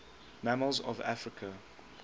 mammals of africa